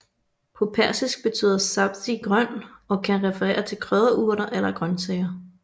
På persisk betyder sabzi grøn og kan referere til krydderurter eller grøntsager